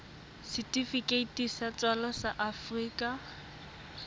setifikeiti sa tswalo sa afrika